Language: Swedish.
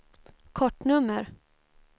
kortnummer